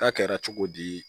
Ta kɛra cogo di